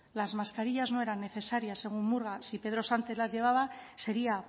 las mascarillas no eran necesarias según murga si pedro sánchez las llevaba sería